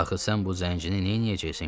Axı sən bu zəncini neyləyəcəksən, gülüm?